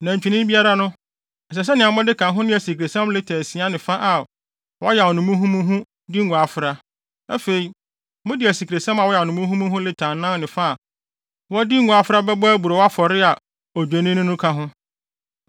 Nantwinini biara no, ɛsɛ sɛ mode ka ho ne asikresiam lita asia ne fa a wɔayam no muhumuhu de ngo afra. Afei, mode asikresiam a wɔayam no muhumuhu lita anan ne fa a wɔde ngo afra bɛbɔ aburow afɔre a Odwennini no ka ho;